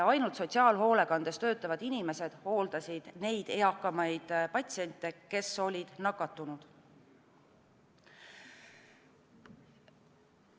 Ainult sotsiaalhoolekandes töötavad inimesed hooldasid neid eakamaid patsiente, kes olid nakatunud.